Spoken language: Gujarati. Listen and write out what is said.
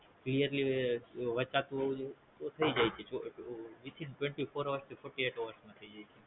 Clearly વાંચતું હોવુંજોઈએ તો થાય જાય છે Twenty four hours થી Forty eight hours માં થાય જાય છે